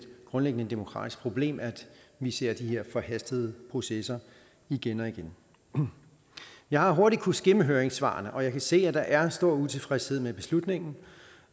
grundlæggende demokratisk problem at vi ser de her forhastede processer igen og igen jeg har hurtigt kunnet skimme høringssvarene og jeg kan se at der er stor utilfredshed med beslutningen